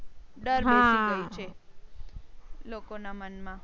ડર બેસી ગયો છે લોકો ના મન માં